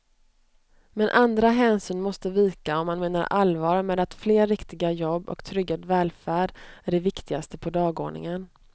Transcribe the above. Men andra hänsyn måste vika om man menar allvar med att fler riktiga jobb och tryggad välfärd är det viktigaste på dagordningen.